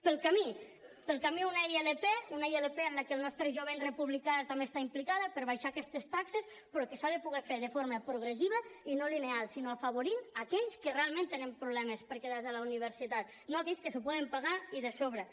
pel camí pel camí una ilp una ilp en la que el nostre jovent republicà també hi està implicat per abaixar aquestes taxes però que s’ha de poder fer de forma progressiva i no lineal sinó afavorint a aquells que realment tenen problemes per quedar se a la universitat no aquells que s’ho poden pagar i de sobres